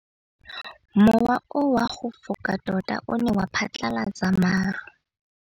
Mowa o wa go foka tota o ne wa phatlalatsa maru.